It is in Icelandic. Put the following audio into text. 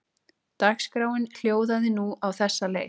Dagskráin hljóðaði nú á þessa leið